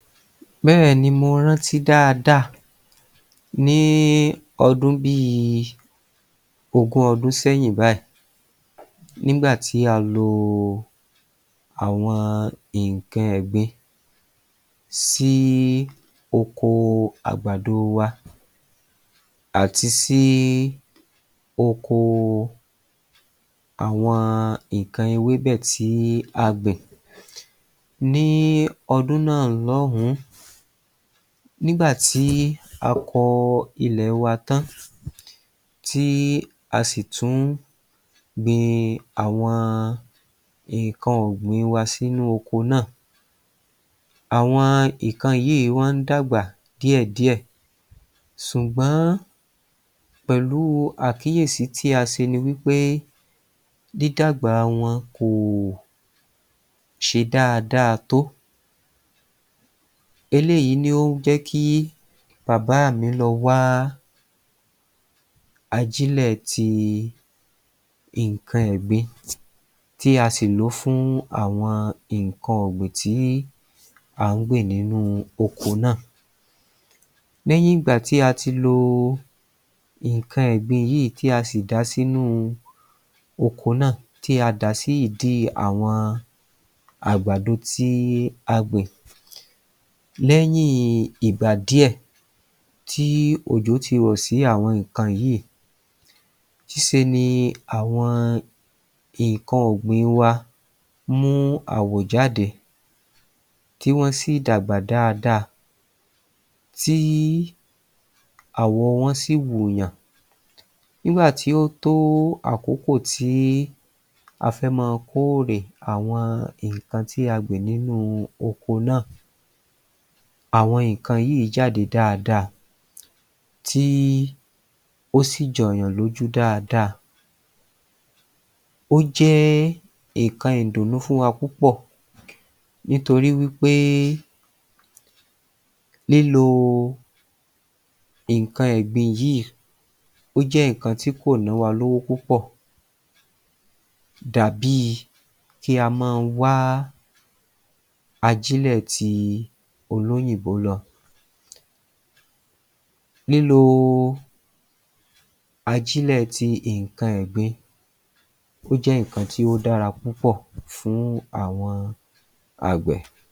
Bẹ́ẹ̀ ni mo rántí dáadáa ní ọdún bí i ogún ọdún sẹ́yìn báyìí nígbàtí a lo àwọn nǹkan ẹ̀gbin sí oko àgbàdo wa àti sí oko àwọn nǹkan ewébẹ̀ tí a gbìn. Ní ọdún náà lóhùn-ún nígbà tí a kọ ilẹ̀ wa tán tí a sì tún gbin àwọn nǹkan ọ̀gbìn wa sínú oko náà, àwọn nǹkan yìí wá ń dàgbà díẹ̀díẹ̀ ṣùgbọ́n pẹ̀lú àkíyèsí tí a ṣe ni wí pé dídàgbà wọn kò ṣe dáadáa tó. Eléyìí ni ó jẹ́ kí bàbá mi lọ wá ajílẹ̀ ti nǹkan ẹ̀gbin tí a sì lòó àwọn nǹkan ọ̀gbìn tí à ń gbìn nínú oko náà. Lẹ́yìn ìgbà tí a ti lo nǹkan ẹ̀gbin yìí tí a sì dàá sínú oko náà tí a dàá sí ìdí àwọn àgbàdo tí a gbìn. Lẹ́yìn ìgbà díẹ̀ tí òjò ti rọ̀ sí àwọn nǹkan yìí ńse ni àwọn nǹkan ọ̀gbìn wa mú àwọ̀ jáde tí wọ́n sì dàgbà dáadáa tí àwọ̀ wọn sì wùnyàn. Nígbà tí ó tó àkókò tí a fẹ́ máa kó èrè àwọn. tí a gbìn nínú oko náà, àwọn nǹkan yìí jáde dáadáa tí ó sì jọ̀yàn lójú dáadáa. Ó jẹ́ nǹkan ìdùnnú fún wa púpọ̀ nítorí wí pé lílo nǹkan ẹ̀gbin yìí ó jẹ́ nǹkan tí kò nọ́ wa lówó púpọ̀ dà bíi kí a máa wá ajílẹ̀ ti olóyìnbó lọ. Lílo ajílẹ̀ ti nǹkan ẹ̀gbin, ó jẹ́ nǹkan tí ó dára púpọ̀ fún àwọn agbẹ̀.